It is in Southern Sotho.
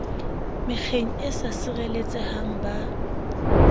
mekgeng e sa sireletsehang ba